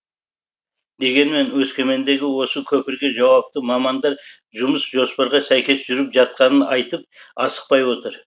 дегенмен өскемендегі осы көпірге жауапты мамандар жұмыс жоспарға сәйкес жүріп жатқанын айтып асықпай отыр